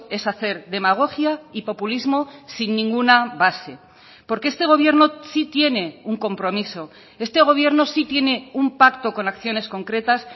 es hacer demagogia y populismo sin ninguna base porque este gobierno sí tiene un compromiso este gobierno sí tiene un pacto con acciones concretas